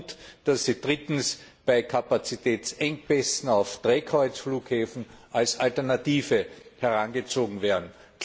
und dass sie drittens bei Kapazitätsengpässen auf Drehkreuzflughäfen als Alternative herangezogen werden.